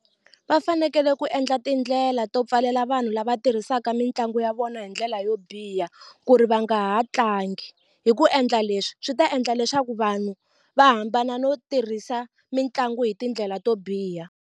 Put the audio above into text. Va fanekele ku endla tindlela to pfalela vanhu lava tirhisaka mitlangu ya vona hi ndlela yo biha ku ri va nga ha tlangi hi ku endla leswi swi ta endla leswaku vanhu va hambana no tirhisa mitlangu hi tindlela to biha.